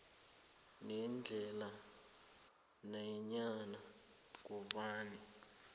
nendlela nanyana ngubani